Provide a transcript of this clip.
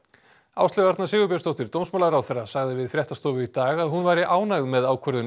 Áslaug Arna Sigurbjörnsdóttir dómsmálaráðherra sagði við fréttastofu í dag að hún væri ánægð með ákvörðun